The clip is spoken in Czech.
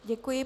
Děkuji.